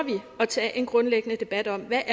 at tage en grundlæggende debat om hvad